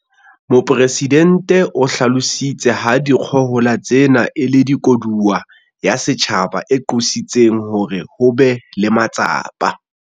Mopresidente o hlalositse ha dikgohola tsena e le koduwa ya setjhaba e qositseng hore ho be le matsapa